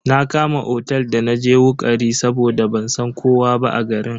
Na Kama otel da naje wukari saboda ban san kowa ba a garin.